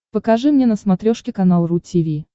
покажи мне на смотрешке канал ру ти ви